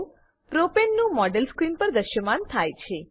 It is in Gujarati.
પ્રોપને પ્રોપેન નું મોડેલ સ્ક્રીન પર દ્રશ્યમાન થાય છે